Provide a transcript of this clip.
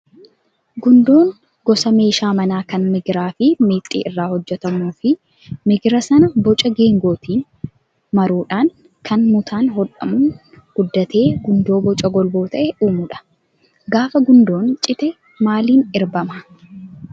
Gundoon gosa meeshaa manaa kan migiraa fi meexxii irraa hojjatmuu fi migira sana boca geengootiin maruudhaan kan mutaan hodhamuun guddatee gundoo boca golboo ta'e uumudha. Gaafa gundoon cite maliin erbamaa?